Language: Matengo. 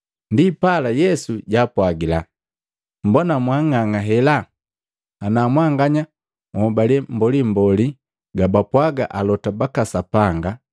Ndipala Yesu jaapwagila, “Mbona mwaang'ang'a hela! Na mwanganya nhobale mbolimboli gabapwaaga alota baka Sapanga!